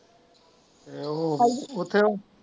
ਐਹੋ ਉੱਥੇ ਹੋ।